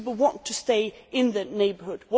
People want to stay in the neighbourhood.